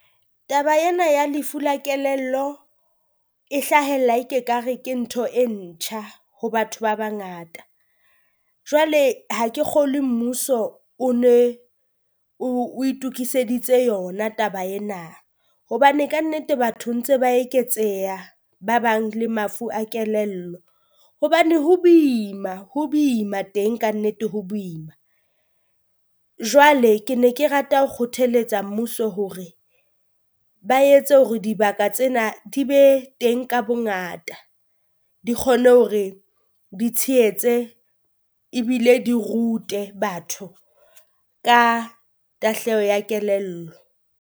Taba ena ya lefu la kelello e hlahella e ke ka re ke ntho e ntjha ho batho ba bangata, jwale ha ke Kgolwe mmuso o ne o o itukiseditse yona taba ena, hobane kannete batho ntse ba eketseha ba bang le mafu a kelello. Hobane ho boima ho boima teng kannete ho boima, jwale ke ne ke rata ho kgotheletsa mmuso hore ba etse hore dibaka tsena di be teng ka bongata. Di kgone hore di tshehetse ebile di rute batho ka tahleho ya kelello.